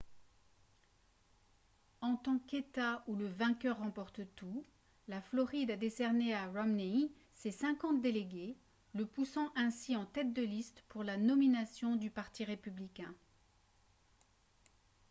en tant qu'état où le vainqueur remporte tout la floride a décerné à romney ses cinquante délégués le poussant ainsi en tête de liste pour la nomination du parti républicain